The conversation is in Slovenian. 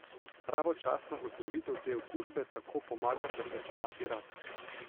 Pravočasna ozdravitev te okužbe tako pomaga preprečevati raka.